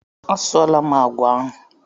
A sụọla m àgwà ahụ.